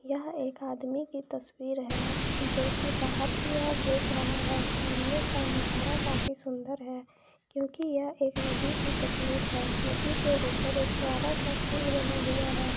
यह एक आदमी की तस्वीर है जो की बहार की और देख रहा है सामने का नजारा खाफी सुदर है क्यों की यह एक नदी की तस्वीर है नदी के ऊपर एक प्यारा सा पुल बना हुआ है।